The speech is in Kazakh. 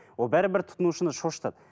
ол бәрібір тұтынушыны шошытады